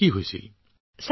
কি হৈছিল তোমাৰ